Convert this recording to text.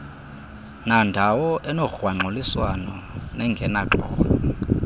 nandawo enogrwangxuliswano nengenaxolo